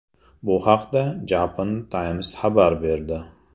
Bu haqda Japan Times xabar berdi .